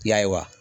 Ya ye wa